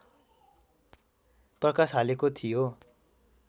प्रकाश हालेको थियो।